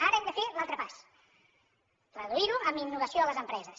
ara hem de fer l’altre pas reduir ho amb innovació a les empreses